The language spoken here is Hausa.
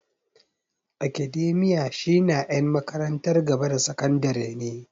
Academia shi na en makarantar gaba da sakandare ne